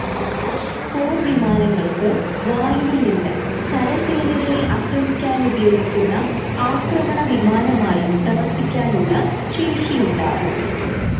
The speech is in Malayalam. പോർവിമാനങ്ങൾക്ക് വായുവിൽനിന്ന് കരസേനകളെ ആക്രമിക്കാനുപയോഗിക്കുന്ന ആക്രമണ വിമാനമായും പ്രവർത്തിക്കാനുള്ള ശേഷിയുണ്ടാവും.